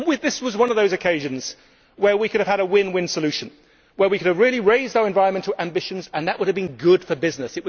This is one of those occasions where we could have had a win win solution, where we could have really raised our environmental ambitions, and that would have been good for business.